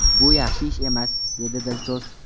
Bu yaxshi ish emas”, dedi Dilso‘z.